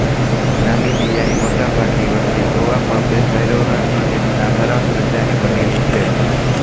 નામિબિયાની મોટા ભાગની વસ્તી ઓવામ્બેહેરેરો અને ડામારા પ્રજાની બનેલી છે